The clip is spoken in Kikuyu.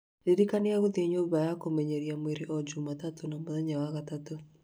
ndirikania gũthiĩ nyũmba ya kũmenyeria mwĩrĩ o jumatatũ na mũthenya wa gatatũ